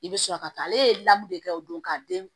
I bɛ sɔrɔ ka taa ale ye lamɔ de kɛ o don ka den